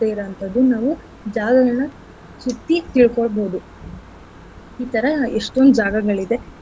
ಇರೋ ಅಂಥದ್ದು ನಾವು ಜಾಗಗಳ ಸುತ್ತಿ ತಿಳ್ಕೋಬಹುದು ಈತರ ಎಷ್ಟೊಂದ್ ಜಾಗಗಳಿದೆ.